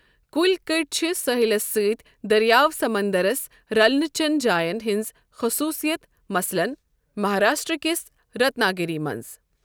کُلۍ کٔٹۍ چھِ ساحلس سۭتۍ دریاو سمندرس رلنہ چن جاین ہِنٛز خصوٗصِیت، مثلاً مہراشٹرا کِس رتنا گیری منٛز۔